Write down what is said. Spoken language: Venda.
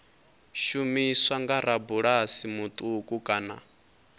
shumiswa nga rabulasi muṱuku kana